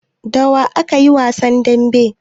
Da wa aka yi wasan damben?